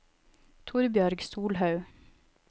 Torbjørg Solhaug